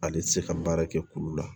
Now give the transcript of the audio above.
Ale tɛ se ka baara kɛ kulu la